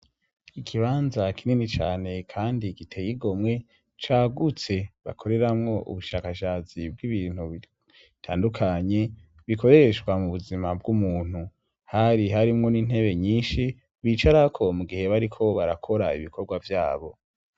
Ikibanza kinini cane kandi giteye igomwe cagutse bakoreramwo ubushakashatsi bw'ibintu bitandukanye, bikoreshwa mu buzima bw'umuntu. Hari harimwo n'intebe nyinshi bicarako mu gihe bariko barakora ibikorwa vyabo.